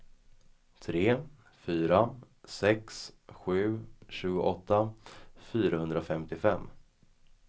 tre fyra sex sju tjugoåtta fyrahundrafemtiofem